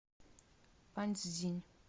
паньцзинь